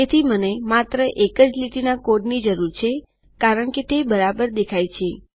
તેથી મને માત્ર એક જ લીટીના કોડની જરૂર છે કારણકે તે બરાબર દેખાય છે